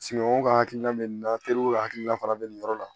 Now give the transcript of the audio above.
Sunɔgɔ ka hakilina bɛ nin na teriw hakilina fana bɛ nin yɔrɔ la